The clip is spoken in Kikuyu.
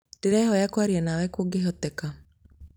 ndĩrehoya kwaria nawe kũngihoteka